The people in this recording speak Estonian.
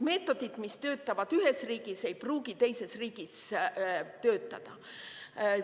Meetodid, mis töötavad ühes riigis, ei pruugi teises riigis töötada.